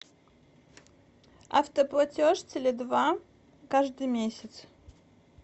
автоплатеж теле два каждый месяц